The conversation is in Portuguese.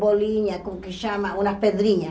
bolinha, como que chama, uma pedrinha.